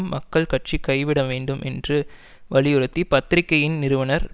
மக்கள் கட்சி கைவிட வேண்டும் என்று வலியுறுத்தி பத்திரிகையின் நிறுவனர்